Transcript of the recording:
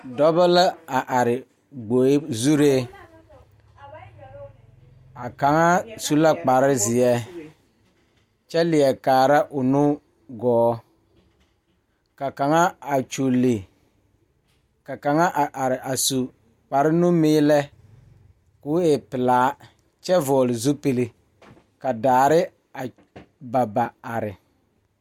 Dɔbɔ la a are gboe zuree a kaŋa su la kparezeɛ kyɛ leɛ kaara o nu gɔɔ ka kaŋa a kyule ka kaŋa a are a su kparenumiilɛ koo e pelaa kyɛ vɔgle zupile ka daare a ba ba are.